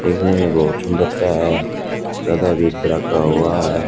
देखने में बहोत सुंदरता है ज्यादा भीड़ भड़का का हुआ है।